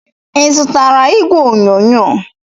Ị zụtara igwe onyonyo ọzọ?